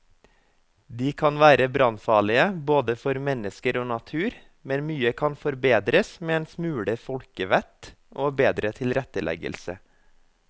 De kan være brannfarlige både for mennesker og natur, men mye kan forbedres med en smule folkevett og bedre tilretteleggelse.